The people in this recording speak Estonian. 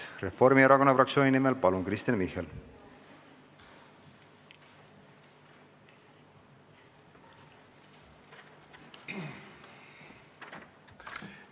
Reformierakonna fraktsiooni nimel Kristen Michal, palun!